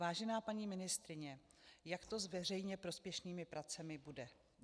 Vážená paní ministryně, jak to s veřejně prospěšnými pracemi bude?